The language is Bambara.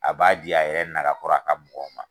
A b'a di a yɛrɛ naka kɔrɔ a ka mɔgɔw ma.